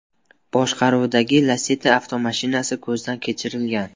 boshqaruvidagi Lacetti avtomashinasi ko‘zdan kechirilgan.